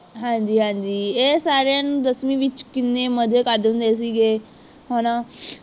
ਹਾਂਜੀ-ਹਾਂਜੀ ਇਹ ਸਾਰੇ ਨੇ ਦਸਵੀ ਵਿਚ ਕਿੰਨੇ ਮਜੇ ਕਰਦੇ ਹੁੰਦੇ ਸੀਗੇ ਹੈਨਾ